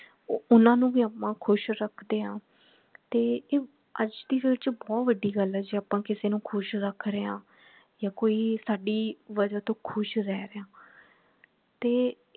ਉਹਨਾਂ ਨੂੰ ਭੀ ਆਪਾ ਖੁਸ਼ ਰੱਖਦੇ ਹੈ ਤੇ ਇਹ ਅੱਜ ਦੀ ਚ ਬਹੁਤ ਬੜੀ ਗੱਲ ਹੈ ਜੇ ਆਪਾ ਕਿਸੇ ਨੂੰ ਖੁਸ਼ ਰਖਰੇ ਹੈ ਯਾ ਕੋਈ ਸਾਡੀ ਵਜਹ ਤੋਂ ਖੁਸ਼ ਰਹਿ ਰਿਹਾ ਤੇ